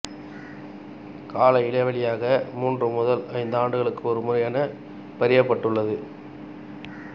கால இடைவெளியாக மூன்று முதல் ஐந்தாண்டுகளுக்கு ஒருமுறை என பரியப்பட்டுள்ளது